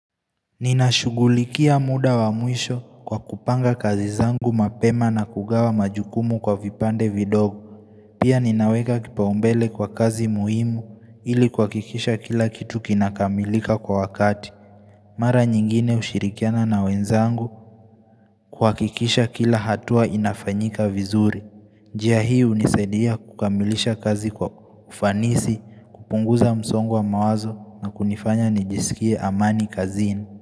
Ninashugulikia muda wa mwisho kwa kupanga kazi zangu mapema na kugawa majukumu kwa vipande vido Pia ninaweka kipaumbele kwa kazi muhimu ili kuakikisha kila kitu kinakamilika kwa wakati Mara nyingine ushirikiana na wenzangu kuakikisha kila hatua inafanyika vizuri njia hii unisaidia kukamilisha kazi kwa ufanisi, kupunguza msongo wa mawazo na kunifanya nijisikie amani kazini.